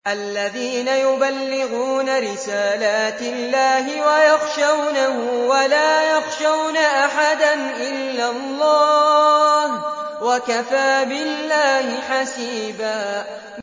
الَّذِينَ يُبَلِّغُونَ رِسَالَاتِ اللَّهِ وَيَخْشَوْنَهُ وَلَا يَخْشَوْنَ أَحَدًا إِلَّا اللَّهَ ۗ وَكَفَىٰ بِاللَّهِ حَسِيبًا